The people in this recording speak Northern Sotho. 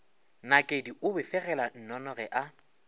nakedi o befegela nnonoge a